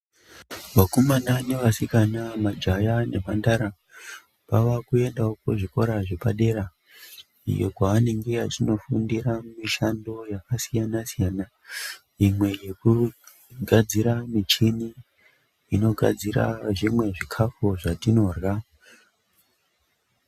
Vakomana nevasikana majaha nemhandara vava kuendawo kuzvikora zvepadera iyo kwavanenge vachindofundira mishando yakasiyana siyana imwe yekugadzira michini inogadzira zvimwe zvikafu zvatinorya.